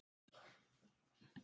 Langar þig að kaupa hvolp?